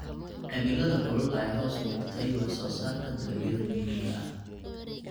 Cimilada kulul ayaa hoos u dhigtay wax soo saarka dalagyada muhiimka ah.